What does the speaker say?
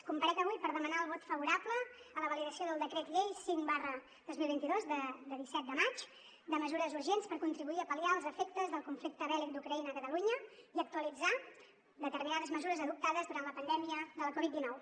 comparec avui per demanar el vot favorable a la validació del decret llei cinc dos mil vint dos de disset de maig de mesures urgents per contribuir a pal·liar els efectes del conflicte bèl·lic d’ucraïna a catalunya i actualitzar determinades mesures adoptades durant la pandèmia de la covid dinou